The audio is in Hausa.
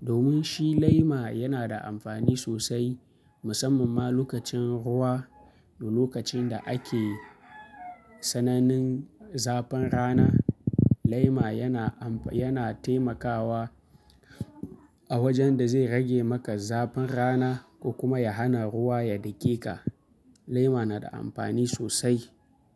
Domin shi lema yana da amfani sosai, musamman ma lokacin ruwa da lokacin da ake sanannin zafin rana. Lema yana am, yana taimakawa a wajen da zai rage maka zafin rana ko kuma ya hana ruwa ya dake ka. Lema na da amfani sosai.